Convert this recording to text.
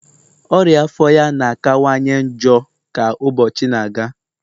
ọria afọ ya na-akawanye njọ ka ụbọchị na-aga